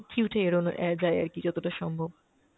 queue টা এড়োনো অ্যাঁ যায় আরকি যতটা সম্ভব।